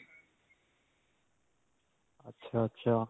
ਅੱਛਾ-ਅੱਛਾ.